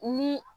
Ni